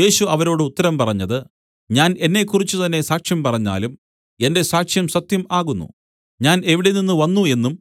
യേശു അവരോട് ഉത്തരം പറഞ്ഞത് ഞാൻ എന്നെക്കുറിച്ച് തന്നേ സാക്ഷ്യം പറഞ്ഞാലും എന്റെ സാക്ഷ്യം സത്യം ആകുന്നു ഞാൻ എവിടെനിന്ന് വന്നു എന്നും